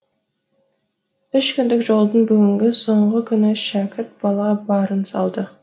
үш күндік жолдың бүгінгі соңғы күні шәкірт бала барын салды